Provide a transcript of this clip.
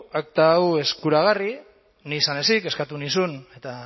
akta hau eskuragarri nik izan ezik eskatu nizun eta